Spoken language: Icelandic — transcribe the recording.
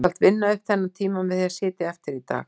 Þú skalt vinna upp þennan tíma með því að sitja eftir í dag